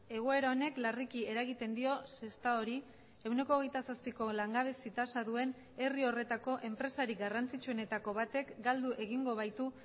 egoera honek larriki eragiten dio sestaori ehuneko hogeita zazpiko langabezi tasa duen herri horretako enpresari garrantzitsuenetako batek galdu egingo baitu